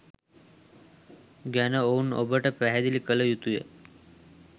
ගැන ඔවුන් ඔබට පැහැදිලි කළ යුතුය.